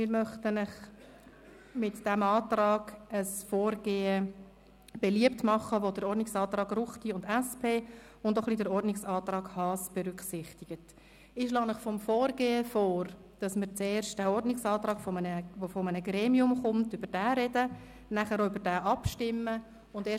Mit dem Antrag möchten wir Ihnen ein Vorgehen vorschlagen, das den Ordnungsantrag Ruchti/SVP sowie den Ordnungsantrag der SP-JUSO-PSA-Fraktion und auch den Ordnungsantrag Haas berücksichtigt.